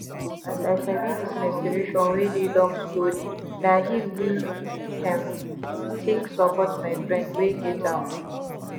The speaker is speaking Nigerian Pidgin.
um as i sabi this menstruation wey dey long storyna him me um take support my friend wey get am ooo.